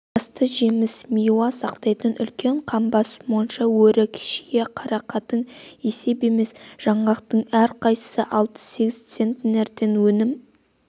асты жеміс-миуа сақтайтын үлкен қамба монша өрік шие қарақатың есеп емес жаңғақтың әрқайсысы алты-сегіз центнерден өнім